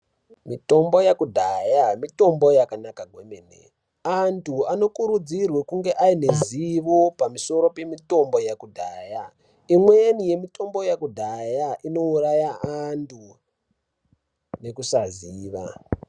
Mitombo yekudhaya mitombo yakanaka kwemene antu anokurudzirwe kunge ane ruzivo pamusoro pemitombo yekudhaya imweni mitombo yekudhaya inouraya antu nekusaziva.